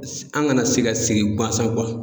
An kana se ka sigi guansan